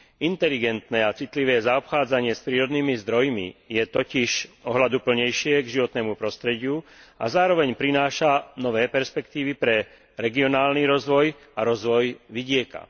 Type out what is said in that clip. Inteligentné a citlivé zaobchádzanie s prírodnými zdrojmi je totiž ohľaduplnejšie k životnému prostrediu a zároveň prináša nové perspektívy pre regionálny rozvoj a rozvoj vidieka.